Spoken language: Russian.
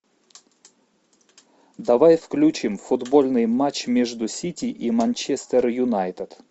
давай включим футбольный матч между сити и манчестер юнайтед